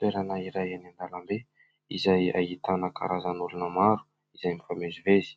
Toerana iray eny an-dalambe izay ahitana karazana olona maro izay mifamezivezy.